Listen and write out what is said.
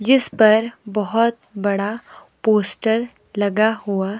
जिस पर बहुत बड़ा पोस्टर लगा हुआ--